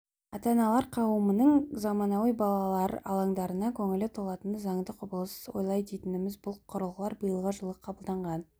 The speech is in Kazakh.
ата-аналар қауымының заманауи балалар алаңдарына көңілі толатыны заңды құбылыс олай дейтініміз бұл құрылғылар биылғы жылы қабылданған